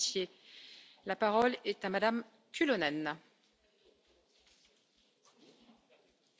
Arvoisa puhemies, hyvät kollegat, omanlaisensa saaga